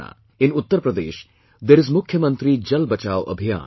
' In Uttar Pradesh there is 'Mukhya Mantri Jal Bachao Abhiyaan'